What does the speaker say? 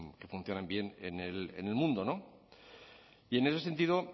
que funcionan bien en el mundo y en ese sentido